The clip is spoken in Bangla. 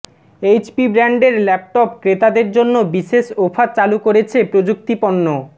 এইচপি ব্র্যান্ডের ল্যাপটপ ক্রেতাদের জন্য বিশেষ অফার চালু করেছে প্রযুক্তিপণ্য